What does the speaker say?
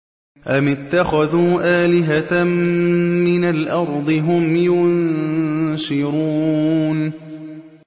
أَمِ اتَّخَذُوا آلِهَةً مِّنَ الْأَرْضِ هُمْ يُنشِرُونَ